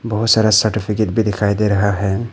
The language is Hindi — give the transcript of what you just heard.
बहुत सारा सर्टिफिकेट भी दिखाई दे रहा है।